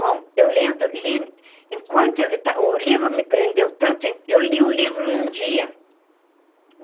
Bom, eu lendo, li... enquanto o livro me prendeu tanto, eu li o livro num dia.